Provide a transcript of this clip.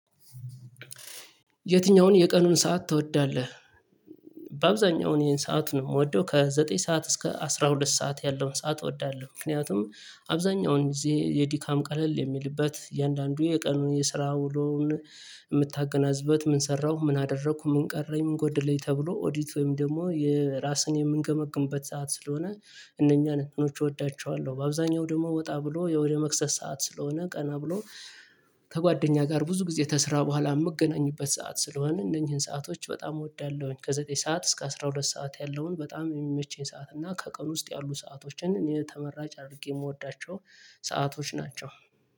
የትኛውን የቀኑን ሰዓት ትወዳለህ? በአብዛኛው ይሄን ሰዓት ነው የምወደው ከዘጠኝ ሰዓት እስከ አስራ ሁለት ሰዓት ያለውን ሰዓት እወዳለሁ። ምክንያቱም አብዛኛውን ጊዜ የድካም ቀለል የሚልበት የአንዳንዱ የቀኑን የስራ ውሎውን የምታገናዝበት ምን ሰራው ምን አደረኩ ምን ቀረኝ ምን ጎደለኝ ተብሎ ኦዲት ወይም ደግሞ የራስን የምንገመግምበት ሰዓት ስለሆነ እነኛን እንትኖች እወዳቸዋለሁ። በአብዛኛው ደግሞ ወጣ ብሎ ወደ መክሰስ ሰዓት ስለሆነ ቀና ብሎ ከጓደኛ ጋር ብዙ ጊዜ ከስራ በኋላ የምገናኝበት ሰዓት ስለሆነ እነኚህን ሰአቶች በጣም እወዳለሁኝ። ከዘጠኝ ሰዓት እስከ አስራ ሁለት ሰዓት ያለውን በጣም የሚመቸኝ ሰዓት እና ከቀን ውስጥ ያሉ ሰአቶችን እኔ ተመራጭ አድርጌ የምወዳቸው ሰአቶች ናቸው።